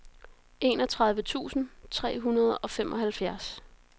enogtredive tusind tre hundrede og femoghalvfjerds